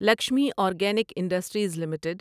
Lakshmi organic industries limited